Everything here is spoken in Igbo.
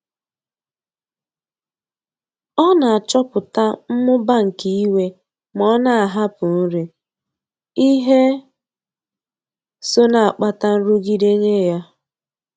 Ọ na-achọpụta mmụba nke iwe ma ọ na-ahapụ nri, ihe so na-akpata nrụgide nye ya.